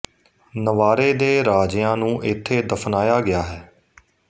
Navarre ਦੇ ਰਾਜਿਆਂ ਨੂੰ ਇੱਥੇ ਦਫਨਾਇਆ ਗਿਆ ਹੈ